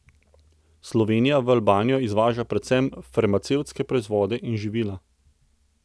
Slovenija v Albanijo izvaža predvsem farmacevtske proizvode in živila.